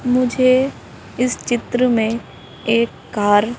मुझे इस चित्र में एक कार --